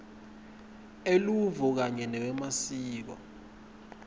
eluvo kanye newemasiko